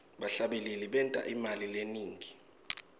bahlabeleli benta imali lenengi